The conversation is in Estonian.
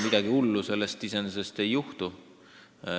Midagi hullu sellest iseenesest ei juhtu.